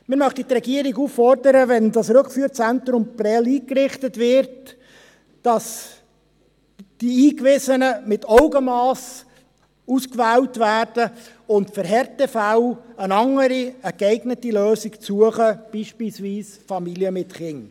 Wir möchten die Regierung auffordern, wenn das Rückführzentrum Prêles eingerichtet wird, dass die dort Einzuweisenden mit Augenmass ausgewählt werden und für Härtefälle eine andere, geeignete Lösung zu suchen, beispielsweise für Familien mit Kindern.